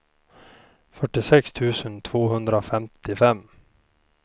fyrtiosex tusen tvåhundrafemtiofem